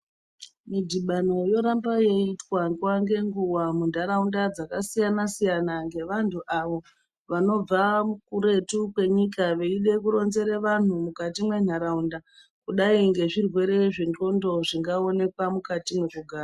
Midhibano yoramba yeiitwa nguwa ngenguwa muntaraunda dzakasiyana siyana, ngevantu avo vanobva kuretu kwenyika veide kuronzere vanhu mwukati mwentaraunda kudai ngezvirwere zvendxondo zvingaonekwa mukati mwekugara.